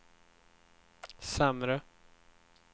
sämre